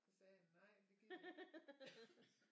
Så sagde han nej det gider jeg ikke